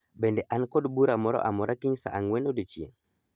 Bende an kod bura moro amora kiny saa ang'wen odiechieng'